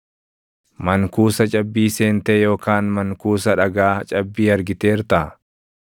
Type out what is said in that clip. “Mankuusa cabbii seentee yookaan mankuusa dhagaa cabbii argiteertaa?